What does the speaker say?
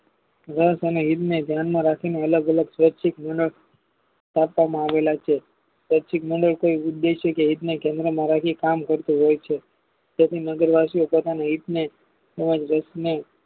વરાછાના ધ્યાનમાં રાખીને અલગ અલગ કાપવામાં આવેલા છે સ્વૈચ્છિક ઉદ્દેશેકે મારથી કામ થતું હોય છે તેથી નગર વાશીઓ તથા